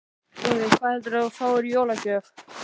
Boði: Hvað heldurðu að þú fáir í jólagjöf?